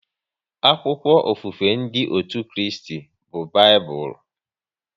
Akwụkwọ ofufe ndị otú Kristi bụ Baịbụl